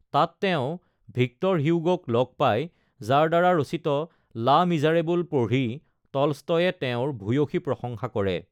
তাত তেওঁ ভিক্টৰ হিউগোক লগ পায় যাৰ দ্বাৰা ৰচিত লা মিজাৰেবল পঢ়ি টলষ্টয়ে তেওঁৰ ভূয়ঁসী প্ৰশংসা কৰে।